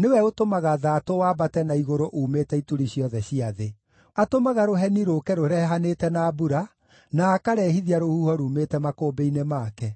nĩwe ũtũmaga thaatũ waambate na igũrũ uumĩte ituri ciothe cia thĩ. Atũmaga rũheni rũũke rũrehanĩte na mbura, na akarehithia rũhuho ruumĩte makũmbĩ-inĩ make.